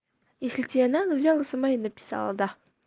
если тебе надо взяла сама и написала да